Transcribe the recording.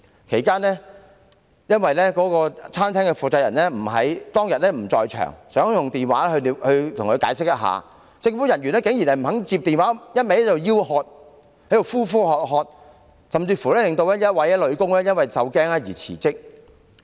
其間，由於餐廳負責人不在場，想透過電話作出解釋，但政府人員竟然不肯接聽電話，只是一直呼喝店員，甚至令其中一名女店員因受驚而辭職。